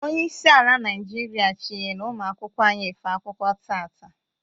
Onyeisi ala Naịjiria chinyelu ụmụ akwụkwọ anyị afe akwụkwọ taata.